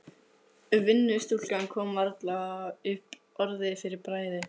Vinnustúlkan kom varla upp orði fyrir bræði.